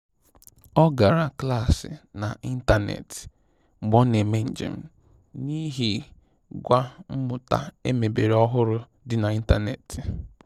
Ọ gara klaasị na ịntanetị mgbe ọ na eme njem, n'ihi gwa mmụta emebere ọhụrụ dị na ịntanetị